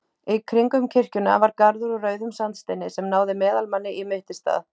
Í kringum kirkjuna var garður úr rauðum sandsteini sem náði meðalmanni í mittisstað.